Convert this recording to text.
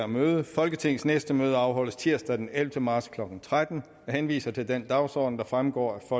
møde folketingets næste møde afholdes tirsdag den ellevte marts klokken tretten jeg henviser til den dagsorden der fremgår af